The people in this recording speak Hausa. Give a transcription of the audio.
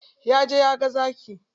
Ya je ya ga zaki.